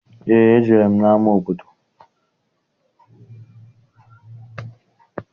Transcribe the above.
Eé, ejere m n'ama obodo.